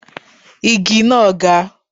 Igi náà ga.